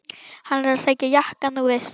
Hann er að sækja jakkann þú veist.